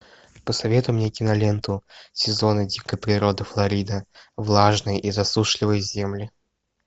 посоветуй мне киноленту сезоны дикой природы флорида влажные и засушливые земли